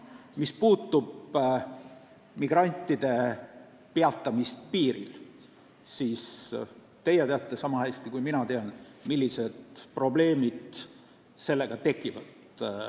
Mis puutub migrantide peatamisse piiril, siis teie teate sama hästi kui mina, millised probleemid sellega tekivad.